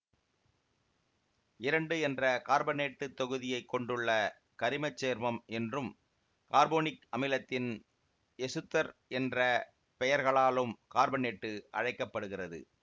இரண்டு என்ற கார்பனேட்டுத் தொகுதியை கொண்டுள்ள கரிம சேர்மம் என்றும் கார்போனிக் அமிலத்தின் எசுத்தர் என்ற பெயர்களாலும் கார்பனேட்டு அழைக்க படுகிறது